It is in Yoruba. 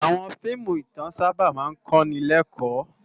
Àwòn fiimú itán sàbá mà n kó ni lèkò